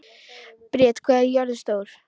Briet, hvað er jörðin stór?